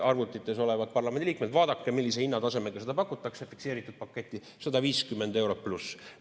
Arvutites olevad parlamendiliikmed, vaadake, millise hinnatasemega seda pakutakse, fikseeritud pakett: 150 eurot pluss!